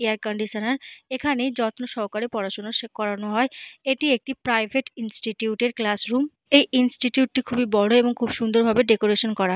Air conditioner. এখানে যত্নসহকারে পড়াশুনা করানো হয়। এটি একটি প্রাইভেট ইনস্টিটিউট এর ক্লাসরুম । এই ইনস্টিটিউট টি খুবই বড় এবং খুবই সুন্দর ভাবে ডেকোরেট করা।